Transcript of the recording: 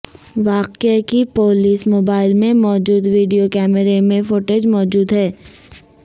واقعے کی police mobile میں موجود ویڈیو کیمرے میں فوٹیج موجود ہے